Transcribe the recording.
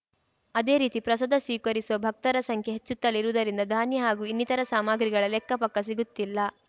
ಅದೇ ರೀತಿ ಪ್ರಸಾದ ಸ್ವೀಕರಿಸುವ ಭಕ್ತರ ಸಂಖ್ಯೆ ಹೆಚ್ಚುತ್ತಲೇ ಇರುವುದರಿಂದ ಧಾನ್ಯ ಹಾಗೂ ಇನ್ನಿತರ ಸಾಮಗ್ರಿಗಳ ಲೆಕ್ಕ ಪಕ್ಕಾ ಸಿಗುತ್ತಿಲ್ಲ